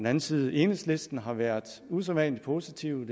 anden side enhedslisten har været usædvanlig positive